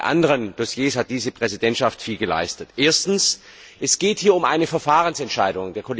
Auch bei anderen Dossiers hat diese Präsidentschaft viel geleistet. Es geht hier um eine Verfahrensentscheidung.